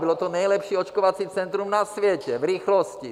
Bylo to nejlepší očkovací centrum na světě v rychlosti.